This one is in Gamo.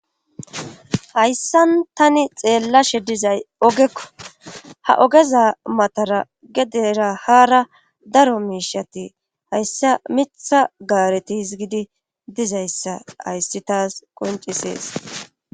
Hayssan tani xeellashshe dizay ogekko ha ogeza matara gedera haara daro miishshati hayssa miiththa gaareti hizgidi dizayssa hayssi taas qoncisees